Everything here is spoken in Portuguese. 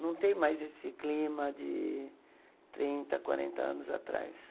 Não tem mais esse clima de trinta, quarenta anos atrás.